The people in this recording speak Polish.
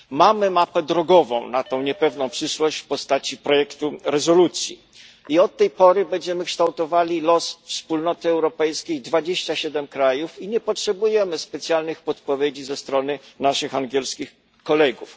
Mamy mapę drogową na tę niepewną przyszłość w postaci projektu rezolucji i od tej pory będziemy kształtowali los Wspólnoty Europejskiej w 27 krajów i nie potrzebujemy specjalnych podpowiedzi ze strony naszych angielskich kolegów.